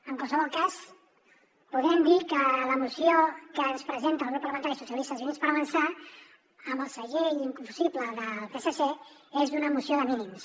en qualsevol cas podem dir que la moció que ens presenta el grup parlamentari socialistes i units per avançar amb el segell inconfusible del psc és una moció de mínims